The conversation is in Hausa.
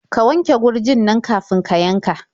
Ka wanke gurjin nan kafin ka yanka.